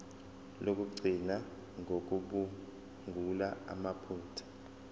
lokugcina ngokucubungula amaphutha